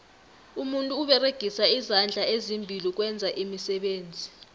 umuntu uberegisa izandla ezimbili ukwenza iimisebenzi